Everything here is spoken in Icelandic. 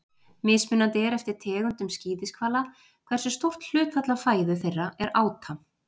Mismunandi er eftir tegundum skíðishvala hversu stórt hlutfall af fæðu þeirra er áta.